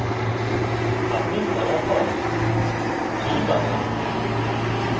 আপনি ফলাফল 3 পাবেন